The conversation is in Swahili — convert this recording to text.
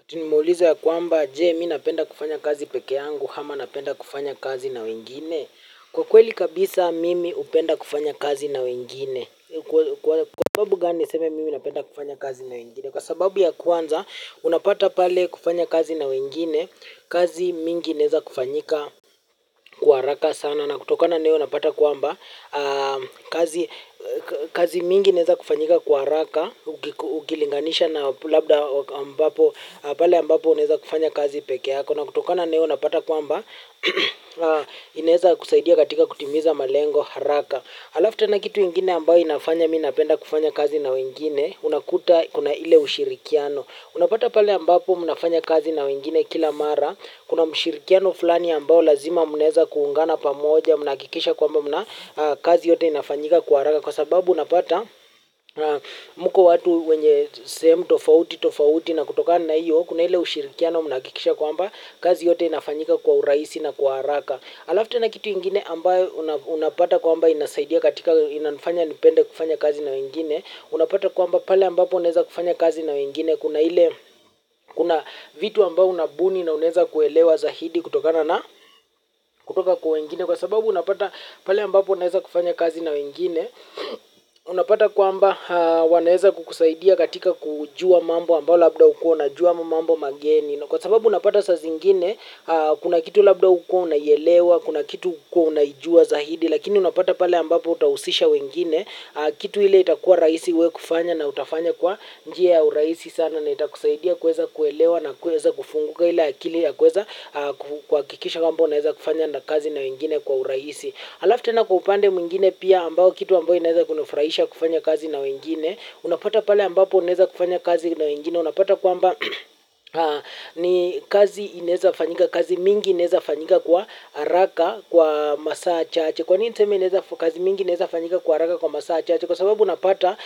Ati nimeulizwa ya kwamba, je, mimi napenda kufanya kazi peke yangu ama napenda kufanya kazi na wengine? Kwa kweli kabisa mimi napenda kufanya kazi na wengine kwa sababu gani nisema mimi napenda kufanya kazi na wengine? Kwa sababu ya kwanza, unapata pale kufanya kazi na wengine, kazi nyingi zinaweza kufanyika kwa haraka sana. Kutokana na hilo napata kwamba, kazi mingi inaweza kufanyika kwa haraka, ukilinganisha na labda pale ambapo naweza kufanya kazi peke yangu. Na kutokana na hilo napata kwamba, inaweza kusaidia katika kutimiza malengo haraka. Halafu tena kitu kingine ambayo kinafanya nipende kufanya kazi na wengine, unakuta kuna ule ushirikiano. Unapata pale ambapo mnafanya kazi na wengine kila mara, kuna ushirikiano fulani ambao lazima mnaweza kuungana pamoja, mnahakikisha kwamba kazi yote inafanyika kwa haraka. Kwa sababu unapata mko watu wenye sehemu tofauti tofauti na kutoka na hiyo, kuna ule ushirikiano mnahakikisha kwamba kazi yote inafanyika kwa urahisi na kwa haraka. Halafu tena kitu kingine ambacho unapata kwamba inasaidia katika inanifanya nipende kufanya kazi na wengine. Unapata kwamba pale ambapo unaweza kufanya kazi na wengine kuna ile kuna vitu ambavyo unabuni na unaweza kuelewa zaidi kutokana na kutoka kwa wengine. Kwa sababu unapata pale ambapo unaweza kufanya kazi na wengine, unapata kwamba wanaweza kukusaidia katika kujua mambo ambayo labda hukuwa hujui, mambo mageni. Kwa sababu unapata mara zingine kuna kitu labda ulikuwa unaelewa, kuna kitu hukuwa unaijua zaidi lakini unapata pale ambapo utahusisha wengine, kitu ile kitakuwa rahisi kufanya na utafanya kwa njia ya urahisi sana na itakusaidia kuelewa na kuweza kufunguka ile akili ya kuweza. Kuhakikisha kwamba unaweza kufanya kazi na wengine kwa urahisi. Halafu tena upande mwingine pia ambao kitu ambayo unaweza kufanya kufanya kazi na wengine, unapata pale ambapo unaweza kufanya kazi na wengine, unapata kwamba ni kazi inaweza fanyika, kazi nyingi inaweza fanyika kwa haraka, kwa masaa chache. Kwa nini niseme kazi nyingi zinaweza kufanyika kwa haraka kwa masaa machache? Kwa sababu unapata